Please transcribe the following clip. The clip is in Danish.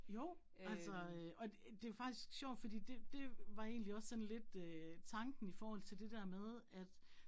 Jo altså øh og det faktisk sjovt fordi det det var egentlig også sådan lidt øh tanken i forhold til det der med at